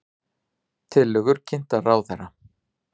Tillögur kynntar ráðherra